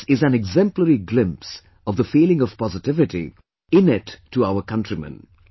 This is an exemplary glimpse of the feeling of positivity, innate to our countrymen